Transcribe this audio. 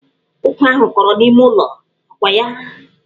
Ụkwa ahụ kọrọ n'ime ụlọ, ọ kwa ya?